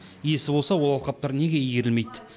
иесі болса ол алқаптар неге игерілмейді